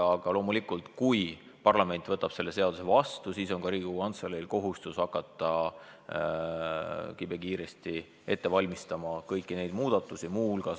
Aga loomulikult, kui parlament võtab selle seaduse vastu, siis on Riigikogu Kantseleil kohustus hakata kibekiiresti ette valmistama kõiki neid muudatusi.